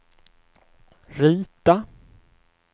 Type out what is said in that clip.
rita